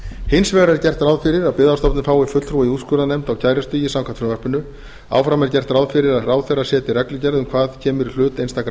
hins vegar er gert ráð fyrir að byggðastofnun fái fulltrúa í úrskurðarnefnd á kærustigi samkvæmt frumvarpinu áfram er gert ráð fyrir að ráðherra setji reglugerð um hvað kemur í hlut einstakra